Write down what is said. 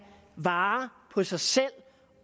vare på sig selv